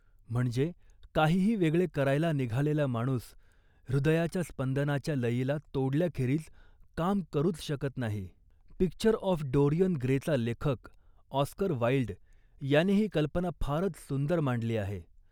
म्हणजे, काहीही वेगळे करायला निघालेला माणूस हृदयाच्या स्पंदनाच्या लयीला तोडल्याखेरीज काम करूच शकत नाही. पिक्चर ऑफ डोरियन ग्रे' चा लेखक ऑस्कर वाईल्ड याने ही कल्पना फारच सुंदर मांडली आहे